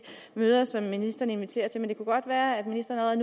møder som ministeren inviterer til men det kunne være at ministeren